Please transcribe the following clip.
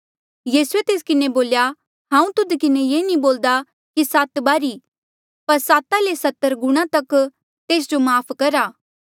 यीसूए तेस किन्हें बोल्या हांऊँ तुध किन्हें ये नी बोल्दा कि सात बारी पर साता ले सत्तर गुणा तक तेस जो माफ़ करा